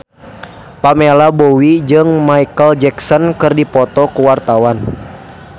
Pamela Bowie jeung Micheal Jackson keur dipoto ku wartawan